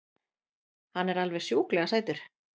Hann er alveg sjúklega sætur!